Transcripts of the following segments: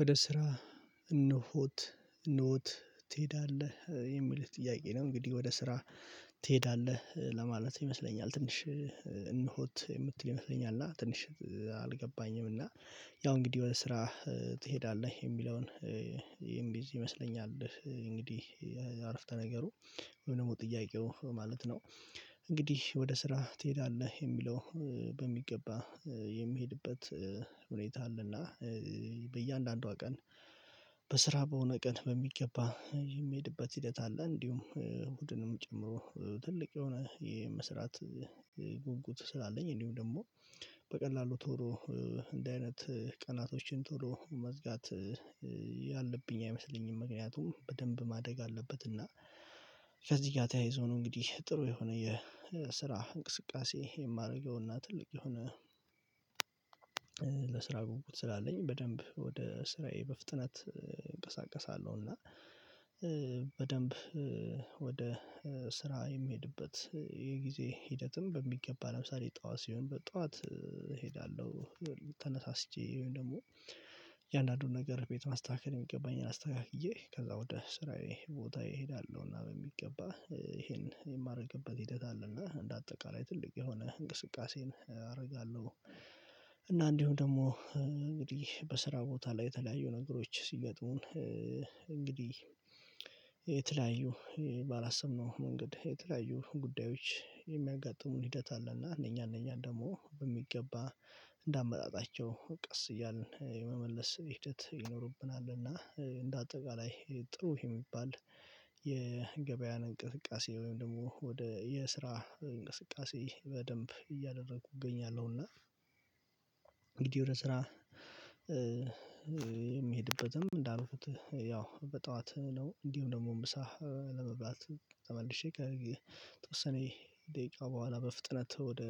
ወደ ስራ እነሆት እነሆት ትሄዳለህ የሚል ጥያቄ ነው? እንግዲህ ወደ ስራ ትሄዳለህ ለማለት ይመስለኛል። ትንሽ እንሆት የምትል ይመስለኛል እና ትንሽ አልገባኝም። እና ያው እንግዲህ የሆነ ስራ ትሄዳለህ የሚለውን ይሄን ቢዝ ይመስለኛል እንግዲህ አረፍተ ነገሩ ወይም ደግሞ ጥያቄው ማለት ነው። እንግዲህ ወደ ስራ ትሄዳለህ የሚለው በሚገባ የሚሄድበት ሁኔታ አለና በእያንዳንዷ ቀን በስራ በሆነ ቀን በሚገባ የሚሄድበት ሂደት አለ። እንዲሁም እሁድንም ጨምሮ ትልቅ የሆነ የመስራት ጉጉት ስላለኝ እንዲሁም ደግሞ በቀላሉ ቶሎ እንዲ አይነት ቀናቶችን ቶሎ መዝጋት ያለብኝ አይመስለኝም። ምክንያቱም በደንብ ማደግ አለበት እና ከዚህ ጋር ተያይዞ ነው እንግዲህ ጥሩ የሆነ የስራ እንቅስቃሴ የማደርገውና ትልቅ የሆነ ለስራ ጉጉት ስላለኝ በደንብ ወደ ስራዬ በፍጥነት እንቀሳቀሳለሁና። በደንብ ወደ ስራ የሚሄድበት የጊዜ ሂደትም በሚገባ ለምሳሌ ጠዋት ሲሆን በጠዋት እሄዳለሁ። ተነሳስቼ ወይም ደግሞ እያንዳንዱን ነገር ቤት ማስተካከል የሚገባኝን አስተካክዬ ከዛ ወደ ስራዬ ቦታ እሄዳለሁና በሚገባ ይሄን የማደርግበት ሂደት አለና እንደ አጠቃላይ ትልቅ የሆነ እንቅስቃሴን አደርጋለሁ። እና እንዲሁም ደግሞ እንግዲህ በስራ ቦታ ላይ የተለያዩ ነገሮች ሲገጡን እንግዲህ የተለያዩ ባላሰብንው መንገድ የተለያዩ ጉዳዮች የሚያጋጥሙን ሂደት አለና እነኛ እነኛ ደግሞ በሚገባ እንደ አመጣጣቸው ቀስ እያልን የመመለስ ሂደት ይኖርብናልና። እንደ አጠቃላይ ጥሩ የሚባል የገበያን እንቅስቃሴ ወይም ደግሞ ወደ የስራ እንቅስቃሴ በደንብ እያደረኩ እገኛለሁና። እንግዲህ የሆነ ስራ የሚሄድበትም እንዳልኩት ያው በጠዋት ነው እንዲሁ ደግሞ እምብሳ ለመብላት ተመልሼ ከከተወሰነ ደቂቃ በኋላ በፍጥነት ወደ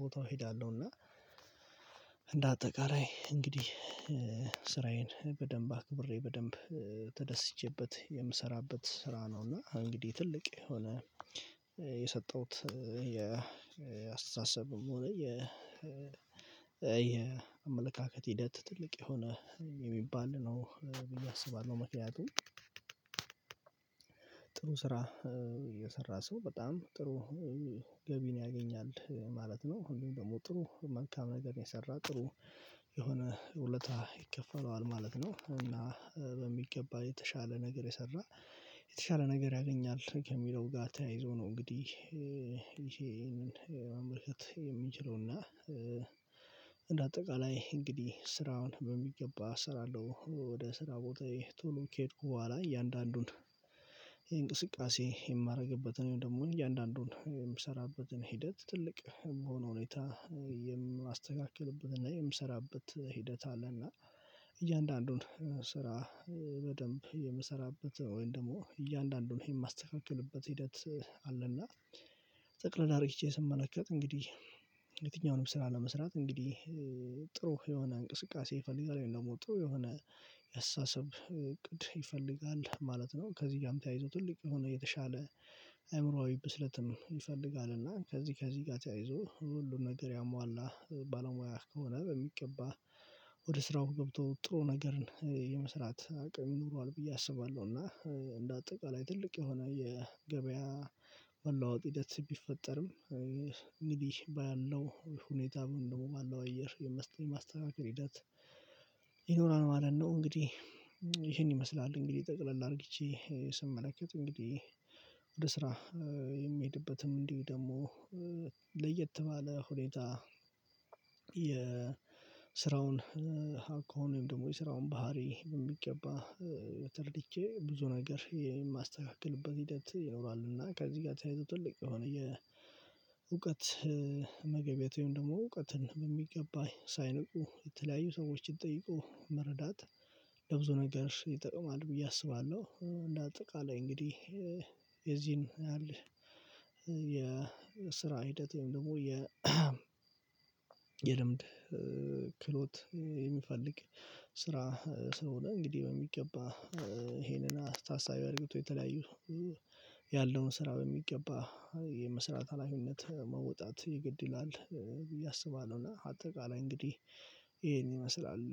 ቦታው እሄዳለሁና። አጠቃላይ እንግዲህ ስራዬን በደንብ አክብሬ በደንብ ተደስቼበት የምሰራበት ስራ ነው እና እንግዲህ ትልቅ የሆነ የሰጠሁት ያስተሳሰብም የአስተሳሰቡም የ የአመለካከት ሂደት ትልቅ የሆነ የሚባል ነው ብዬ አስባለሁ። መኪያቱ ጥሩ ስራ እየሰራ ሰው በጣም ጥሩ ገቢን ያገኛል ማለት ነው ሁሉም ደግሞ ጥሩ መልካም ነገር የሰራ ጥሩ የሆነ ውለታ ይከፈለዋል ማለት ነው። እና በሚገባ የተሻለ ነገር የሰራ የተሻለ ነገር ያገኛል ከሚለው ጋር ተያይዞ ነው። እንግዲህ ይሄንን ማምረከት የምንችለውና እንደ አጠቃላይ እንግዲህ ስራውን በሚገባ እሰራለሁ አለው ወደ ስራ ቦታ ቶሎ ከሄድኩ በኋላ እያንዳንዱን የእንቅስቃሴ የማደርግበትን ደግሞ እያንዳንዱን የምሰራበትን ሂደት ትልቅ በሆነ ሁኔታ የምታስተካክልብን እና የምሰራበት ሂደት አለ። እና እያንዳንዱን ስራ በደንብ የምሰራበት ወይም ደግሞ እያንዳንዱን ይሄን የማስተካክልበት ሂደት አለና ጠቅለላ ሪቼ ስመለከት እንግዲህ የትኛውንም ስራ ለመስራት እንግዲህ ጥሩ የሆነ እንቅስቃሴ ይፈልጋል ወይ ደግሞ ጥሩ የሆነ የሰሰብ እቅድ ይፈልጋል ማለት ነው። ከዚህ ጋርም ተያይዞ ትልቅ የሆነ የተሻለ ብስለት ይፈልጋል እና ከዚህ ከዚህ ጋር ተያይዞ ሁሉን ነገር ያሟላ ባለሙያ ከሆነ በሚቀባ ወደ ስራው ገብቶ ጥሩ ነገርን የመስራት አቅም ይኖረዋል ብዬ አስባለሁ። እና እንደ አጠቃላይ ትልቅ የሆነ የገበያ መለዋወጥ ሂደት ቢፈጠርም እንግዲህ ባያለው ሁኔታ ምን ደግሞ ባለው አየር የማስተካከል ሂደት ይኖራል ማለት ነው። እንግዲህ ይሄን ይመስላል እንግዲህ ጠቅለል አድርጌቼ ስመለከት እንግዲህ ወደ ስራ የሚሄድበትም እንዲሁ ደግሞ ለየት ባለ ሁኔታ የስራውን አልኮን ወይም ደግሞ የስራውን ባህሪ በሚገባ ተረድቼ ብዙ ነገር የማስተካክልበት ሂደት ይኖራል እና ከዚህ ጋር ተያይዞ ትልቅ የሆነ የእውቀት መገቢያ ወይም ደግሞ እውቀትን በሚገባ ሳንቁ የተለያዩ ሰዎችን ጠይቆ መረዳት ለብዙ ነገር ይጠቅማል ብዬ አስባለሁ። እንደ አጠቃላይ እንግዲህ የዚህን ያህል ያለ የስራ ሂደት ደግሞ የ የልምድ ክሎት የሚፈልግ ስራ ስለሆነ እንግዲህ በሚገባ ይሄንን አስተሳሳቢ አድርገው የተለያዩ ያለውን ስራ በሚገባ የመስራት ሀላፊነት መውጣት ይገድላል ብዬ አስባለሁ። እና አጠቃላይ እንግዲህ ይሄን ይመስላል።